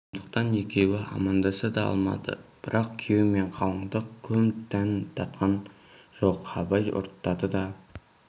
сондықтан екеуі амандаса да алмады бірақ күйеу мен қалыңдық көп дәм татқан жоқ абай ұрттады да